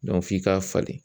f'i k'a falen